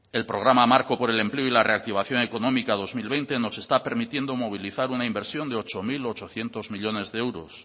el programa marco por el empleo y la reactivación económica dos mil veinte nos está permitiendo movilizar una inversión de ocho mil ochocientos millónes de euros